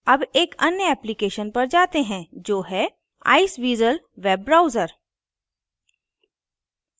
अब एक अन्य application पर जाते हैं जो है iceweasel web browser